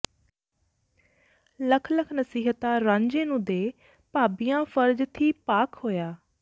ਲੱਖ ਲੱਖ ਨਸੀਹਤਾਂ ਰਾਂਝੇ ਨੂੰ ਦੇ ਭਾਬੀਆਂ ਫ਼ਰਜ਼ ਥੀਂ ਪਾਕ ਹੋਈਆਂ